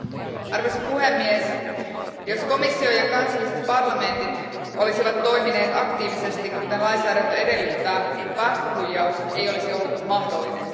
Arvoisa puhemies, jos komissio ja kansalliset parlamentit olisivat toimineet aktiivisesti kuten lainsäädäntö edellyttää, päästöhuijaus ei olisi ollut mahdollinen.